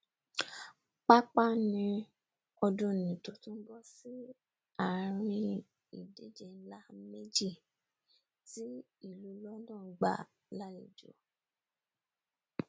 pàápàá ní ọdúnnìí tó tún bọ sí àrin ìdíje nlá méjì tí ìlú london gbà lálejò